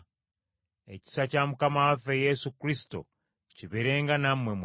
Ekisa kya Mukama waffe Yesu Kristo kibeerenga nammwe mwenna.